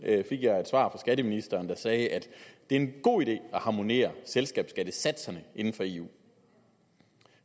fik jeg et svar fra skatteministeren der sagde at det er en god idé at harmonisere selskabsskattesatserne inden for eu